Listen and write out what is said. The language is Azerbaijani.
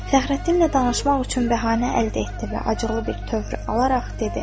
Fəxrəddinlə danışmaq üçün bəhanə əldə etdi və acıqlı bir tövr alaraq dedi: